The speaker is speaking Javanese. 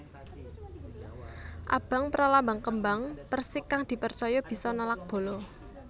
Abang pralambang kembang persik kang dipercaya bisa nolak bala